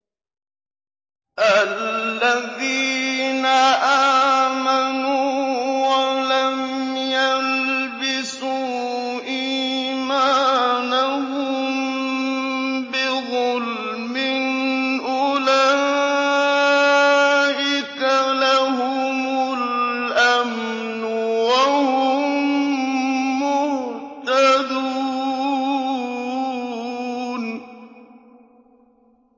الَّذِينَ آمَنُوا وَلَمْ يَلْبِسُوا إِيمَانَهُم بِظُلْمٍ أُولَٰئِكَ لَهُمُ الْأَمْنُ وَهُم مُّهْتَدُونَ